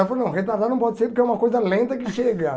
Eu falei, não, retardado não pode ser, porque é uma coisa lenta que chega.